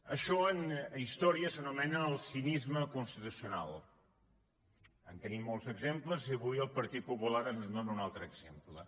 això en història s’anomena el cinisme constitucional en tenim molts exemples i avui el partit popular ens en dóna un altre exemple